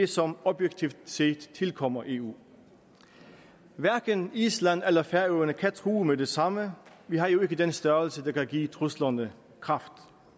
som objektivt set tilkommer eu hverken island eller færøerne kan true med det samme vi har jo ikke den størrelse der kan give truslerne kraft